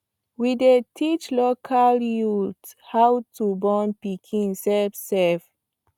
we dey teach local youth how to born pikin safe safe